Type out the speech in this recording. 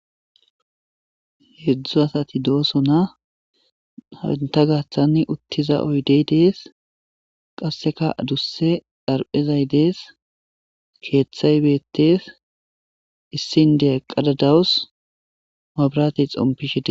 heedzdzu asati doosona ha entta gaaththanni uttiza oyidey dees qasseka adusse xaraphezay dees keeththay beettes issi indiya eqada dawus mabirate xompishe dees